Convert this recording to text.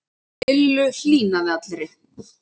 Lillu hlýnaði allri.